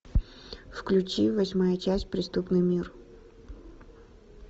включи восьмая часть преступный мир